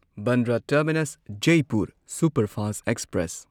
Bandra terminus Jaipur superfast express